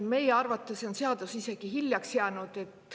Meie arvates on see seadus isegi hiljaks jäänud.